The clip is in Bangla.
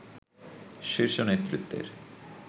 শীর্ষ নেতৃত্বের